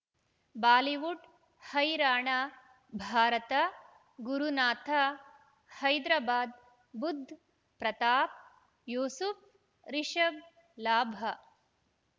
Bollywood ಹೈರಾಣ ಭಾರತ ಗುರುನಾಥ ಹೈದರಾಬಾದ್ ಬುಧ್ ಪ್ರತಾಪ್ ಯೂಸುಫ್ ರಿಷಬ್ ಲಾಭ